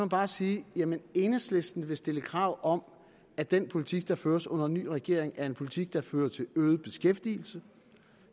bare sige at enhedslisten vil stille krav om at den politik der føres under en ny regering er en politik der fører til øget beskæftigelse